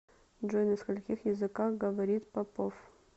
джой на скольких языках говорит попов